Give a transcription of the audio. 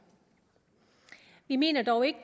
vi mener dog ikke